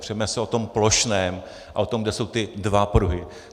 Přeme se o tom plošném a o tom, kde jsou ty dva pruhy.